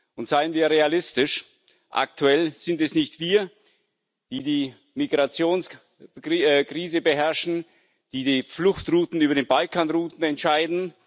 Und seien wir realistisch Aktuell sind es nicht wir, die die Migrationskrise beherrschen, die die Fluchtrouten über die Balkanroute entscheiden.